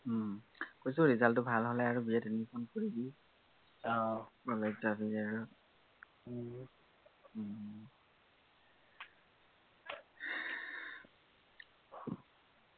উম কৈছো, result টো ভাল হলে আৰু BA ত admission কৰিবি